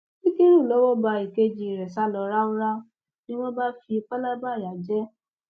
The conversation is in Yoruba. ṣíkúrú lowó bá èkejì rẹ sá lọ ráúráú ni wọn bá fi palaba ìyà jẹ ẹ